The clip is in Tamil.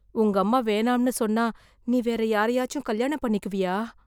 உங்க அம்மா வேணாம்னு சொன்னா நீ வேற யாரயாச்சும் கல்யாணம் பண்ணிக்குவியா?